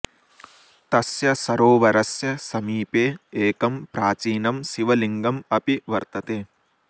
तस्य सरोवरस्य समीपे एकं प्राचीनं शिवलिङ्गम् अपि वर्तते